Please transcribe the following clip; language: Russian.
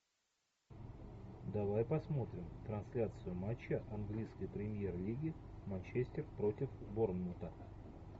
давай посмотрим трансляцию матча английской премьер лиги манчестер против борнмута